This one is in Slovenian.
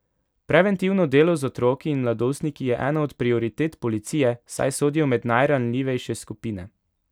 Preventivno delo z otroki in mladostniki je ena od prioritet policije, saj sodijo med najranljivejše skupine.